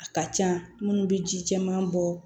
A ka ca minnu bɛ ji caman bɔ